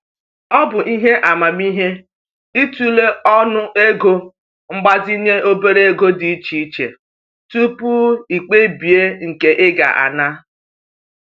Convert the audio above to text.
Ọ bụ ihe amamihe i tụlee ọnụego mgbazinye obere ego dị iche iche tupu i kpebie nke ị ga ana.